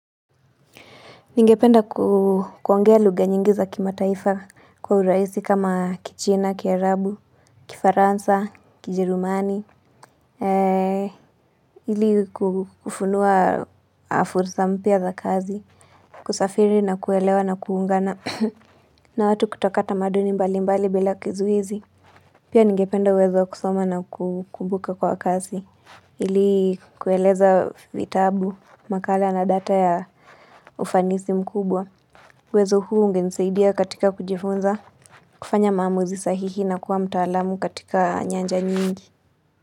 Ningependa kuongea lugha nyingi za kimataifa kwa urahisi kama kichina, Kiarabu, kifaransa, Kijerumani. IIi kufunua fursa mpya za kazi. Kusafiri na kuelewa na kuungana. Na watu kutoka tamaduni mbalimbali bila kizuizi. Pia ningependa uwezo wa kusoma na kubuka kwa kazi. Ili kueleza vitabu, makala na data ya ufanisi mkubwa. Uwezo huu ungenisaidia katika kujifunza kufanya maamuzi sahihi na kuwa mtaalamu katika nyanja nyingi.